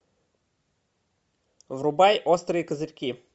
врубай острые козырьки